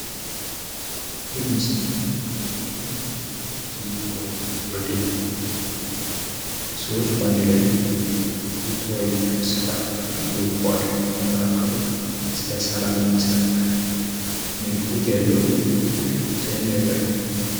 ይህ ምስል የሚያመለክተው የተለያዩ ጓደኛሞች ሰዎች ባንድ ላይ እየተወያዩ የሰላም ምልክት እንደሚመለከተው ስለ ሰላም የሚሰብክ ምልክት ያለው ዲዛይን ነገር ነው።